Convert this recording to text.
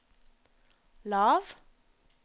lav